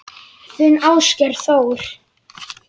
Þinn Ásgeir Þór.